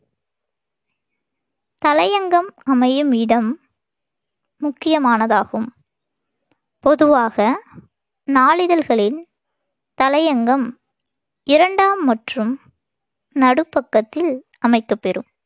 தலையங்கம் அமையும் இடம் என்பது முக்கியமானதாகும். பொதுவாக நாளிதழ்களில் தலையங்கம் இரண்டாம் மற்றும் நடுப்பக்கத்தில் அமைக்கப்பெறும்.